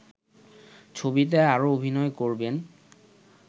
ছবিতে আরও অভিনয় করবেন